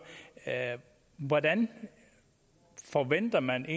hvordan forventer man